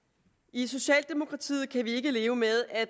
i socialdemokratiet kan vi ikke leve med at